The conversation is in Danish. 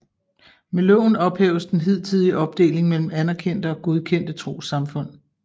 Med loven ophæves den hidtidige opdeling mellem anerkendte og godkendte trossamfund